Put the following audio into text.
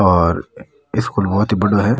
और स्कूल बहोत ही बड़ो है।